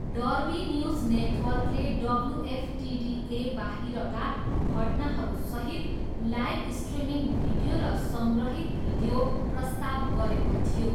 Derby News नेटवर्कले WFTDA बाहिरका घटनाहरूसहित लाइभ स्ट्रिमिङ भिडियो र सङ्ग्रहित भिडियो प्रस्ताव गरेको थियो।